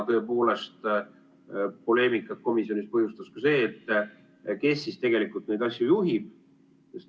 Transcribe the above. Poleemikat komisjonis põhjustas ka see, kes siis tegelikult neid asju juhib.